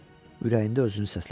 Ürəyində özünü səslədi.